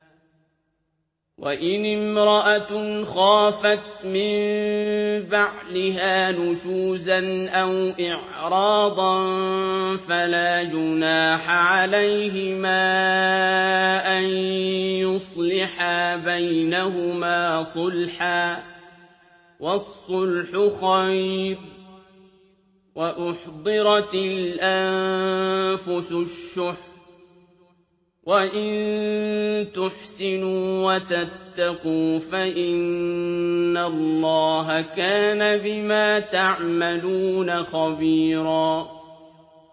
وَإِنِ امْرَأَةٌ خَافَتْ مِن بَعْلِهَا نُشُوزًا أَوْ إِعْرَاضًا فَلَا جُنَاحَ عَلَيْهِمَا أَن يُصْلِحَا بَيْنَهُمَا صُلْحًا ۚ وَالصُّلْحُ خَيْرٌ ۗ وَأُحْضِرَتِ الْأَنفُسُ الشُّحَّ ۚ وَإِن تُحْسِنُوا وَتَتَّقُوا فَإِنَّ اللَّهَ كَانَ بِمَا تَعْمَلُونَ خَبِيرًا